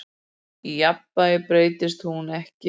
Í jafnvægi breytist hún ekki.